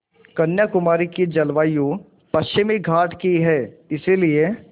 कन्याकुमारी की जलवायु पश्चिमी घाट की है इसलिए